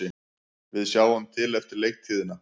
Við sjáum til eftir leiktíðina,